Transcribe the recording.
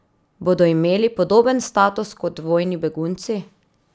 Bodo imeli podoben status kot vojni begunci?